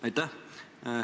Aitäh!